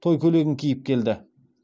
той көйлегін киіп келді